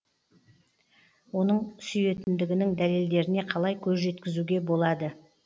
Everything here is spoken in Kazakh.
оның сүйетіндігінің дәлелдеріне қалай көз жеткізуге болады